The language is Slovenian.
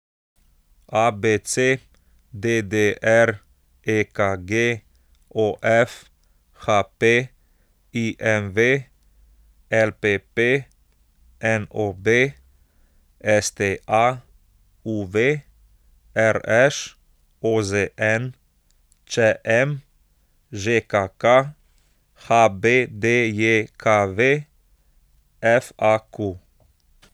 ABC, DDR, EKG, OF, HP, IMV, LPP, NOB, STA, UV, RŠ, OZN, ČM, ŽKK, HBDJKV, FAQ.